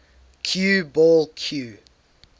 cue ball cue